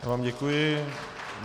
Já vám děkuji.